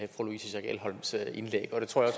fru louise schack elholms indlæg og det tror jeg